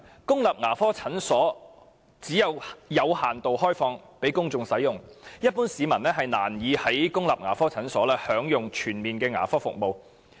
公立牙科診所只會有限度開放給公眾使用，一般市民難以在公立牙科診所享用全面的牙科服務。